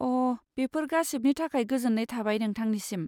अ, बेफोर गासिबनि थाखाय गोजोन्नाय थाबाय नोंथांनिसिम।